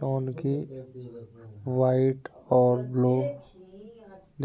जोन की वाइट और ब्लू